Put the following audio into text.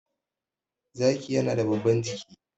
zaki yana da babban jiki